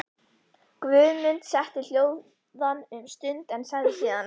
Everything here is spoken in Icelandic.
Guðmund setti hljóðan um stund en sagði síðan: